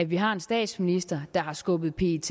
vi har en statsminister der har skubbet pet